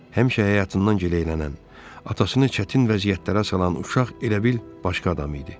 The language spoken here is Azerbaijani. Həmişə həyatından gileylənən, atasını çətin vəziyyətlərə salan uşaq elə bil başqa adam idi.